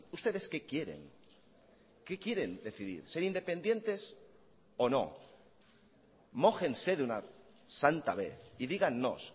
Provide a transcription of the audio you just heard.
ustedes qué quieren qué quieren decidir ser independientes o no mójense de una santa vez y dígannos